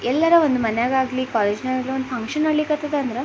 ಎಲ್ಲರು ಒಂದು ಮನೆಗ್ ಆಗ್ಲಿ ಕಾಲೇಜು ನಲ್ಲಿ ಆಗಲಿ ಒಂದ್ ಫಂಕ್ಷನ್ ಅಗ್ಲಿಕ್ ಹತ್ತದ ಅಂದ್ರೆ --